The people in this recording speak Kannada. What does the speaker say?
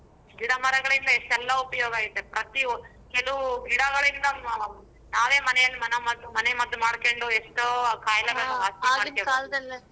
ಗಿಡ ಮರಗಳಿಂದ ಇಷ್ಟೆಲ್ಲಾ ಉಪಯೋಗ ಐತೆ ಪ್ರತಿವೊ~ ಕೆಲವು ಗಿಡಗಳಿಂದ ನಾವೇ ಮನೆಯಲ್ಲಿ ಮನ ಮದ್ದು ಮನೆ ಮದ್ದು ಮಾಡ್ಕೊಂಡು ಎಷ್ಟೋ ಕಾಯಿಲೆಗಳನ್ನ.